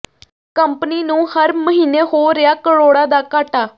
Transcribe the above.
company ਨੂੰ ਹਰ ਮਹੀਨੇ ਹੋ ਰਿਹਾ ਕਰੋੜਾਂ ਦਾ ਘਾਟਾ